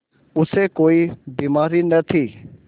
उसे कोई बीमारी न थी